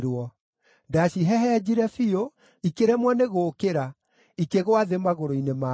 Ndacihehenjire biũ, ikĩremwo nĩ gũũkĩra, ikĩgũa thĩ magũrũ-inĩ makwa.